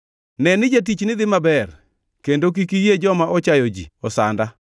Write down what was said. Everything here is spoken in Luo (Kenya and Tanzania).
Ne ni jatichni dhi maber, kendo kik iyie joma ochayo ji osanda.